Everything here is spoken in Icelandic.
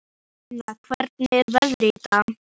Kolfinna, hvernig er veðrið í dag?